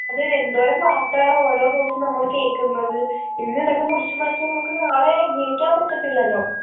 അതെ എന്തോരം വാർത്തകളാ ഓരോ ദെവസോം നമ്മള് കേക്കുന്നത് ഇന്നിതൊക്കെ മുറിച്ച് മാറ്റിയ നമുക്ക് നാളെ ജീവിക്കാൻ പറ്റത്തില്ലല്ലോ